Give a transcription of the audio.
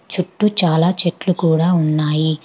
చుట్టూ చాలా చెట్లు కూడా ఉన్నాయి.